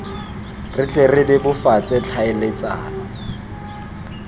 re tle re bebofatse tlhaeletsano